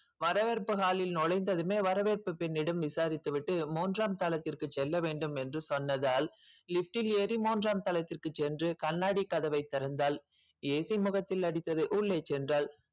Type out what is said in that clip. வரவேற்பு hall லில் நுழைந்ததுமே வரவேற்புப் பெண்ணிடம் விசாரித்து விட்டு மூன்றாம் தளத்திற்கு செல்ல வேண்டும் என்று சொன்னதால் lift ல் ஏறி மூன்றாம் தளத்திற்குச் சென்று கண்ணாடிக் கதவைத் திறந்தாள் AC முகத்தில் அடித்தது உள்ளே சென்றாள்